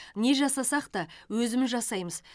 не жасасақ та өзіміз жасаймыз